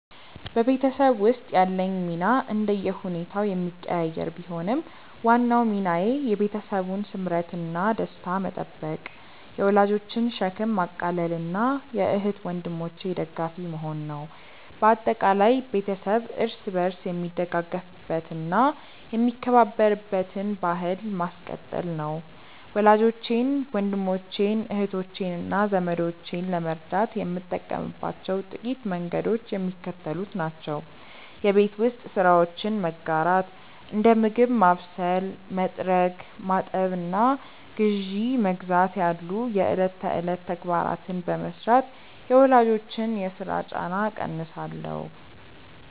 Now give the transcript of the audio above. በቤተሰብ ውስጥ ያለኝ ሚና እንደየሁኔታው የሚቀያየር ቢሆንም፣ ዋናው ሚናዬ የቤተሰቡን ስምረትና ደስታ መጠበቅ፣ የወላጆችን ሸክም ማቃለልና የእህት ወንድሞቼ ደጋፊ መሆን ነው። በአጠቃላይ፣ ቤተሰብ እርስ በርስ የሚደጋገፍበትና የሚከባበርበትን ባሕል ማስቀጠል ነው። ወላጆቼን፣ ወንድሞቼን፣ እህቶቼንና ዘመዶቼን ለመርዳት የምጠቀምባቸው ጥቂት መንገዶች የሚከተሉት ናቸው የቤት ውስጥ ስራዎችን መጋራት፦ እንደ ምግብ ማብሰል፣ መጥረግ፣ ማጠብና ግዢ መግዛት ያሉ የዕለት ተዕለት ተግባራትን በመሥራት የወላጆችን የሥራ ጫና እቀንሳለሁ